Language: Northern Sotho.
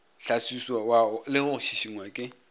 hlaswiwa le go šišingwa ke